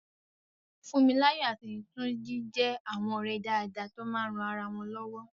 Fúnmiláyọ̀ àti Túnjí jẹ́ àwọn ọ̀rẹ́ dáadáa tó máa ń ran ara wọn lọ́wọ́